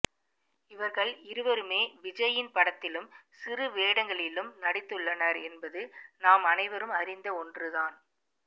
இவர்கள் இருவருமே விஜய்யின் படத்திலும் சிறு வேடங்களிலும் நடித்துள்ளனர் என்பது நாம் அனைவரும் அறிந்த ஒன்று தான்